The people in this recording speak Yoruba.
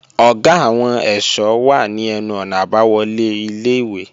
Ọ̀gá àwọn ẹ̀ṣọ́ wà ní ẹnu-ọ̀nà àbáwọlé ilé-ìwé